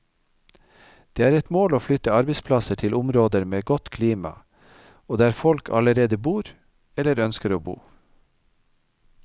Det er et mål å flytte arbeidsplasser til områder med godt klima, og der folk allerede bor, eller ønsker å bo.